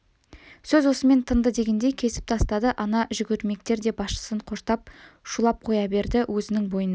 сөз осымен тынды дегендей кесіп тастады ана жүгірмектер де басшысын қоштап шулап қоя берді өзінің бойында